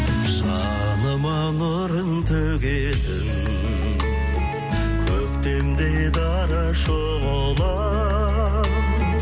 жаныма нұрын төгетін көктемдей дара шұғылам